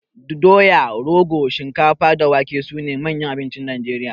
Doya, rogo, shinkafa da wake sune manyan abincin Najeriya.